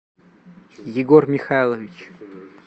егор михайлович